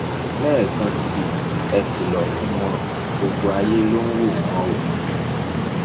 lẹẹkan sí i ẹ kìlọ fún wọn gbogbo ayé ló ń wò wọn o